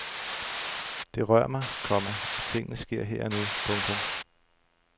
Det rør mig, komma at tingene sker her og nu. punktum